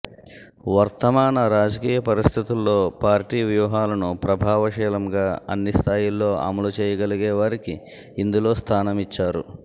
వర్తమాన రాజకీయ పరిస్థితుల్లో పార్టీ వ్యూహాలను ప్రభావశీలంగా అన్ని స్థాయిల్లో అమలు చేయగలిగేవారికి ఇందులో స్థానమిచ్చారు